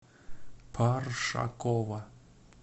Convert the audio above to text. паршакова